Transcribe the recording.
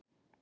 Bera